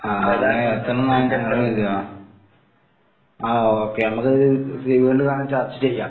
ആഹ് അങ്ങനെ എത്തണംന്നാണ് ഞങ്ങളൊരിത്. ആഹ് ഓക്കെ നമ്മക്കത് ചർച്ച ചെയ്യാം.